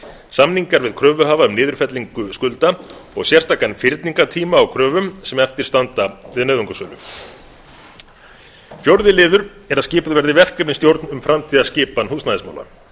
samningar við kröfuhafa um niðurfellingu skulda og sérstakan fyrningartíma á kröfum sem eftir standa við nauðungarsölu fjórði liður er að skipuð verði verkefnisstjórn um framtíðarskipan húsnæðismála